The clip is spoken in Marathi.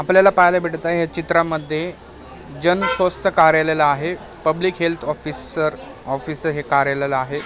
आपल्याला पाहायला भेटत आहे या चित्रामध्ये जन स्वस्त कार्यालय आहे पब्लिक हेल्थ ऑफिसर ऑफिसचं हे कार्याल आहे.